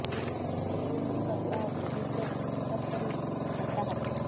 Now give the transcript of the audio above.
ଦୁଇ ଜଣ ଶିଖ ବ୍ୟକ୍ତିଙ୍କ ସହ ପୋଲିସର ଯୁକ୍ତିତର୍କ ରୁ ହାତାହାତି